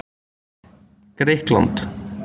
Grikkland